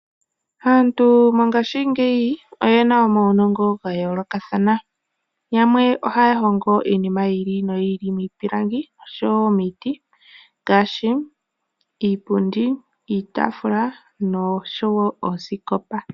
Aantu mongashingeyi oyena omawunongo ga yoolokathana, yamwe ohaya hongo iinima yiili no yiili miipilangi oshowo miiti ngaashi, iipundi, iitaafula noshowo oosikopa.